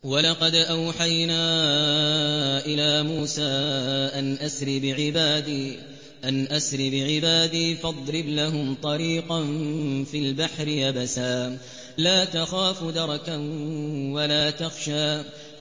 وَلَقَدْ أَوْحَيْنَا إِلَىٰ مُوسَىٰ أَنْ أَسْرِ بِعِبَادِي فَاضْرِبْ لَهُمْ طَرِيقًا فِي الْبَحْرِ يَبَسًا لَّا تَخَافُ دَرَكًا وَلَا تَخْشَىٰ